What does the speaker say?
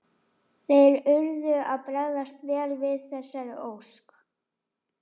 Þeir urðu að bregðast vel við þessari ósk.